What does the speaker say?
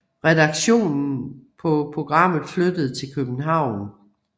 Redaktionen på programmet flyttede til København